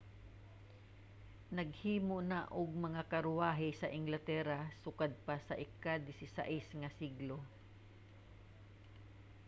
naghimo na og mga karwahe sa inglatera sukad pa sa ika-16 nga siglo